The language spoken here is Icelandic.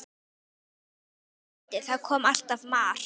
Í hvert skipti sem ég reyndi, þá kom alltaf mar